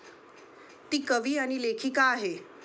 ती कवी आणि लेखिका आहे.